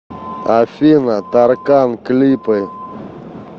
афина таркан клипы